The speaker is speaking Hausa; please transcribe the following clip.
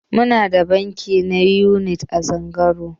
Muna da banki na Unity a Zungeru.